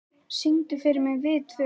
Náttsól, syngdu fyrir mig „Við tvö“.